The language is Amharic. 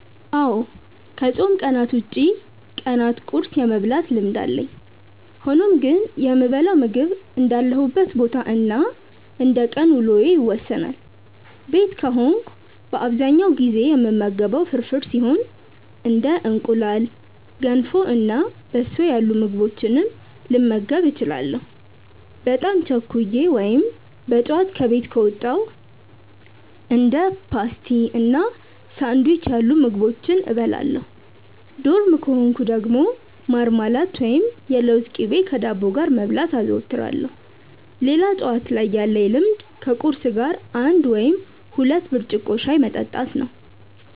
አዎ ከፆም ቀናት ውጪ ቀናት ቁርስ የመብላት ልምድ አለኝ። ሆኖም ግን የምበላው ምግብ እንዳለሁበት ቦታ እና እንደቀን ውሎዬ ይወሰናል። ቤት ከሆንኩ በአብዛኛው ጊዜ የምመገበው ፍርፍር ሲሆን እንደ እንቁላል፣ ገንፎ እና በሶ ያሉ ምግቦችንም ልመገብ እችላለሁ። በጣም ቸኩዬ ወይም በጠዋት ከቤት ከወጣው እንደ ፓስቲ እና ሳንዱች ያሉ ምግቦችን እበላለሁ። ዶርም ከሆንኩ ደግሞ ማርማላት ወይም የለውዝ ቅቤ ከዳቦ ጋር መብላት አዘወትራለሁ። ሌላ ጠዋት ላይ ያለኝ ልምድ ከቁርስ ጋር አንድ ወይም ሁለት ብርጭቆ ሻይ መጠጣት ነው።